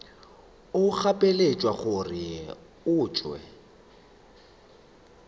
o gapeletšwa gore o tšwe